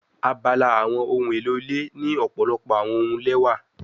Abala awọn ohun elo ile ni ọpọlọpọ awọn ohun lẹwa